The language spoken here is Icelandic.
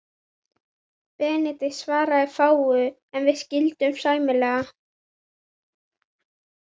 Benedikt svaraði fáu, en við skildum sæmilega.